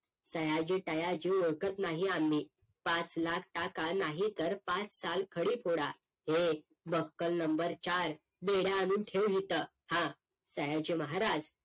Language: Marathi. सयाजी तयाजी ओळखत नाही आम्ही पाच लाख टाका नाहीतरी पाच साल खडी फोडा हे बक्कल number चार बेड्या आणून ठेव इथ हां सयाजी महाराज